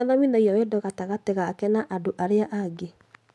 Nĩathomithagio wendo gatagatĩ gake na andũ arĩa angĩ